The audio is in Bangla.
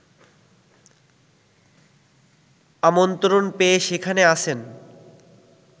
আমন্ত্রণ পেয়ে সেখানে আছেন